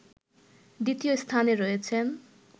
দ্বিতীয় স্থানে রয়েছেন